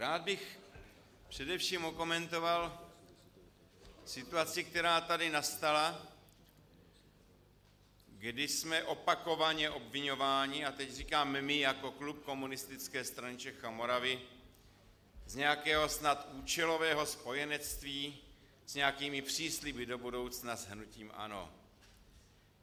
Rád bych především okomentoval situaci, která tady nastala, kdy jsme opakovaně obviňováni, a teď říkám my jako klub Komunistické strany Čech a Moravy, z nějakého snad účelového spojenectví s nějakými přísliby do budoucna s hnutím ANO.